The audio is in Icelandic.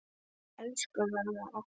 Elsku mamma okkar.